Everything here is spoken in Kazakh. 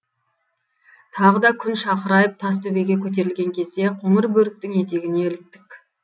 тағы да күн шақырайып тас төбеге көтерілген кезде қоңырбөріктің етегіне іліктік